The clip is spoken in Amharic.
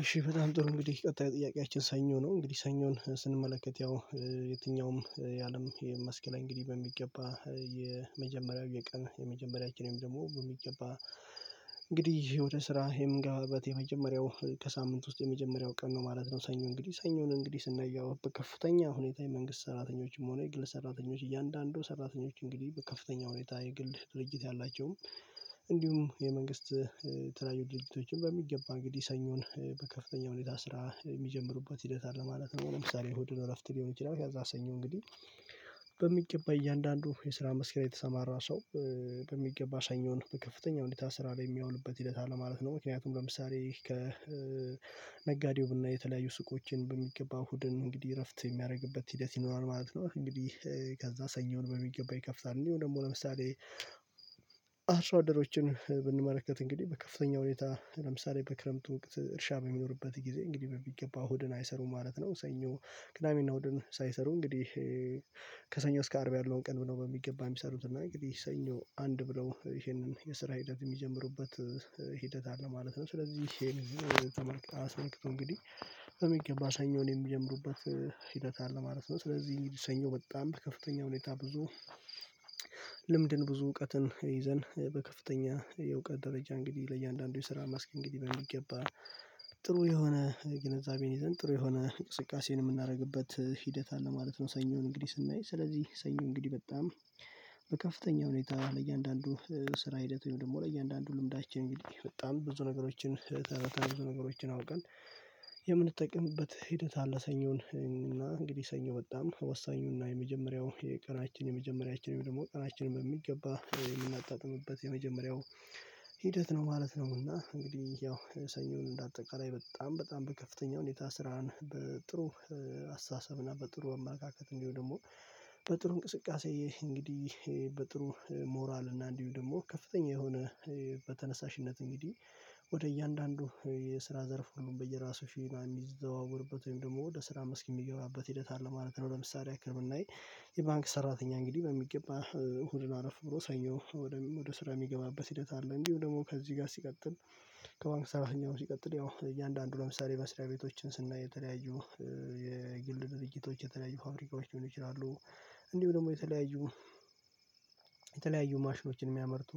እሺ በጣም ጥሩ እንግዲህ ቀጣይ ጥያቄያችን ሰኞ ነው እንግዲህ ሰኞን ስንመለከት ያው የትኛውም የአለም የመስክ ላይ እንግዲህ በሚገባ የመጀመሪያው የቀን የመጀመሪያው የቀን የመጀመሪያው ደግሞ በሚገባ እንግዲህ ወደ ስራ የምገባበት የመጀመሪያው ከሳምንት ውስጥ የመጀመሪያው ቀን ነው ማለት ነው ሰኞ እንግዲህ ሰኞ እንግዲህ ስናየው ከፍተኛ ሁኔታ የመንግስት ሰራተኞችም ሆነ የግል ሰራተኞች እያንዳንዱ ሰራተኞች እንግዲህ በከፍተኛ ሁኔታ የግል ድርጅት ያላቸው እንዲሁም የመንግስት የተለያዩ ድርጅቶችን በሚገባ እንግዲህ ሰኞን በከፍተኛ ሁኔታ ስራ የሚጀምሩበት ሂደት አለ ማለት ነው። ለምሳሌ እሁድን እረፍት ሊሆን ይችላል ከዛ ሰኞ እንግዲህ በሚገባ እያንዳንዱ የስራ መስክ ላይ የተሰማራ ሰው በሚገባ ሰኞን በከፍተኛ ሁኔታ ስራ ላይ የሚያውልበት ሂደት አለ ማለት ነው። ምክንያቱም ለምሳሌ ከነጋዴው ብናይ የተለያዩ ሱቆችን በሚገባ እሁድን እንግዲህ እረፍት የሚያደርግበት ሂደት ይኖራል ማለት ነው። እንግዲህ ከዛ ሰኞን በሚገባ ይከፍታል። እንዲሁ ደግሞ ለምሳሌ አርሶ አደሮችን ብንመለከት እንግዲህ በከፍተኛ ሁኔታ ለምሳሌ በክረምቱ ወቅት እርሻ በሚኖርበት ጊዜ እንግዲህ በሚገባ ሆድን አይሰሩም ማለት ነው። ሰኞ ቅዳሜና እሁድን ሳይሰሩ እንግዲህ ከሰኞ እስከ አርብ ያለውን ቀን ብሎ በሚገባ የሚሰሩት እና እንግዲህ ሰኞ አንድ ብለው ይሄንን የስራ ሂደት የሚጀምሩበት ሂደት አለ ማለት ነው። ስለዚህ ይሄን ተመልክቶ እንግዲህ በሚገባ ሰኞን የሚጀምሩበት ሂደት አለ ማለት ነው። ስለዚህ እንግዲህ ሰኞ በጣም በከፍተኛ ሁኔታ ብዙ ልምድን ብዙ እውቀትን ይዘን በከፍተኛ የእውቀት ደረጃ እንግዲህ ለእያንዳንዱ የሰራ መስክ እንግዲህ በሚገባ ጥሩ የሆነ ግንዛቤን ይዘን ጥሩ የሆነ እንቅስቃሴን የምናደርግበት ሂደት አለ ማለት ነው። ሰኞን እንግዲህ ስናይ ስለዚህ ሰኞ እንግዲህ በጣም በከፍተኛ ሁኔታ ለእያንዳንዱ ስራ ሂደት ወይም ደግሞ ለእያንዳንዱ ልምዳችን እንግዲህ በጣም ብዙ ነገሮችን ተረድተን ብዙ ነገሮችን አውቀን የምንጠቅምበት ሂደት አለ። ሰኞን እና እንግዲህ ሰኞ በጣም ወሳኙና እና የመጀመሪያው የቀናችን የመጀመሪያችንም ደግሞ ቀናችንም በሚገባ የምናጣጥምበት የመጀመሪያው ሂደት ነው ማለት ነው። እና እንግዲህ ያው ሰኞን እንደ አጠቃላይ በጣም በጣም በከፍተኛ ሁኔታ ስራን በጥሩ አስተሳሰብና በጥሩ አመለካከት እንዲሁ ደግሞ በጥሩ እንቅስቃሴ እንግዲህ በጥሩ ሞራል እና እንዲሁ ደግሞ ከፍተኛ የሆነ በተነሳሽነት እንግዲህ ወደ እያንዳንዱ የስራ ዘርፉን በየራሱ ሸና የሚዘዋወርበት ወይም ደግሞ ወደ ስራ መስክ የሚገባበት ሂደት አለ ማለት ነው። ለምሳሌ ያክል ብናይ የባንክ ሰራተኛ እንግዲህ በሚገባ እሁድ አረፍ ብሎ ሰኞ ወደ ስራ የሚገባበት ሂደት አለ። እንዲሁ ደግሞ ከዚህ ጋር ሲቀጥል ከባንክ ሰራተኛው ሲቀጥል ያው እያንዳንዱ ለምሳሌ መስሪያ ቤቶችን ስናይ የተለያዩ የግል ድርጅቶች የተለያዩ ፋብሪካዎች ሊሆኑ ይችላሉ። እንዲሁ ደግሞ የተለያዩ የተለያዩ ማሽኖችን የሚያመርቱ